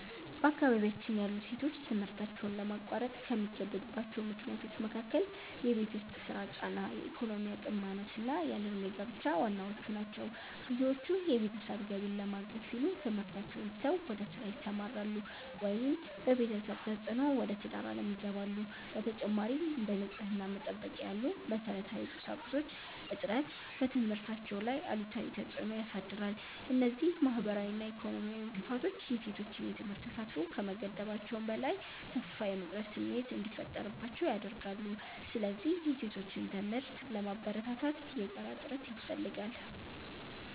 በአካባቢያችን ያሉ ሴቶች ትምህርታቸውን ለማቋረጥ ከሚገደዱባቸው ምክንያቶች መካከል የቤት ውስጥ ሥራ ጫና፣ የኢኮኖሚ አቅም ማነስና ያለ ዕድሜ ጋብቻ ዋናዎቹ ናቸው። ብዙዎቹ የቤተሰብን ገቢ ለማገዝ ሲሉ ትምህርታቸውን ትተው ወደ ሥራ ይሰማራሉ፤ ወይም በቤተሰብ ተፅዕኖ ወደ ትዳር ዓለም ይገባሉ። በተጨማሪም፥ እንደ ንጽሕና መጠበቂያ ያሉ መሠረታዊ ቁሳቁሶች እጥረት በትምህርታቸው ላይ አሉታዊ ተፅዕኖ ያሳድራል። እነዚህ ማኅበራዊና ኢኮኖሚያዊ እንቅፋቶች የሴቶችን የትምህርት ተሳትፎ ከመገደባቸውም በላይ፥ ተስፋ የመቁረጥ ስሜት እንዲፈጠርባቸው ያደርጋሉ። ስለዚህ የሴቶችን ትምህርት ለማበረታታት የጋራ ጥረት ያስፈልጋል።